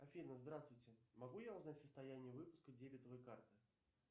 афина здравствуйте могу я узнать состояние выпуска дебетовой карты